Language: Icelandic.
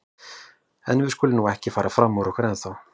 En við skulum nú ekki fara fram úr okkur ennþá.